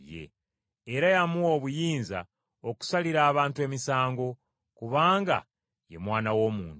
era yamuwa obuyinza okusalira abantu emisango, kubanga ye Mwana w’Omuntu.